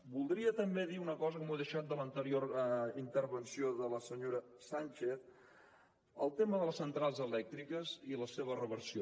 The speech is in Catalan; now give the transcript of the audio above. voldria també dir una cosa que m’ho he deixat de l’anterior intervenció de la senyora sànchez del tema de les centrals elèctriques i la seva reversió